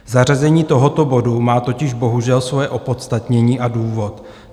Zařazení tohoto bodu má totiž bohužel svoje opodstatnění a důvod.